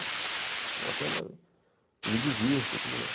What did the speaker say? É uma coisa que eu me divirto e tudo mais.